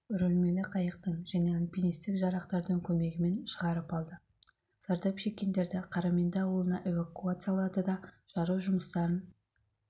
үрілмелі қайықтың және альпинистік жарақтардың көмегімен шығарып алды зардап шеккендерді қараменді ауылына эвакуациялады да жару жұмыстарын